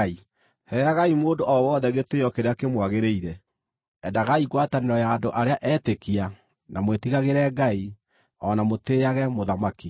Heagai mũndũ o wothe gĩtĩĩo kĩrĩa kĩmwagĩrĩire: Endagai ngwatanĩro ya andũ arĩa etĩkia, na mwĩtigagĩre Ngai, o na mũtĩĩage mũthamaki.